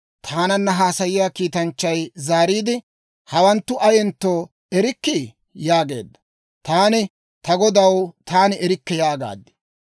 Taananna haasayiyaa kiitanchchay zaariide, «Hawanttu ayentto erikkii?» yaageedda. Taani, «Ta godaw, taani erikke» yaagaad.